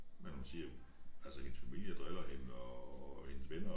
Men hun siger altså hendes familie driller hende og og hendes venner